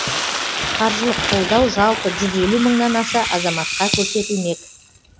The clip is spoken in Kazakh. қаржылық қолдау жалпы жүз елу мыңнан аса азаматқа көрсетілмек